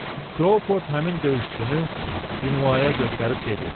Krouford həmin döyüşçünü Dinuaya göstərib dedi: